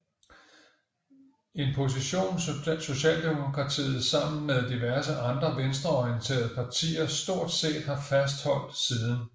En position Socialdemokratiet sammen med diverse andre venstreorienterede partier stort set har fastholdt siden